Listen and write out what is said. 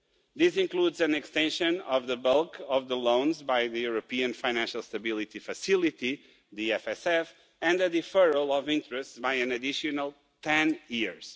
This includes an extension of the bulk of the loans by the European Financial Stability Facility and a deferral of interest by an additional ten years.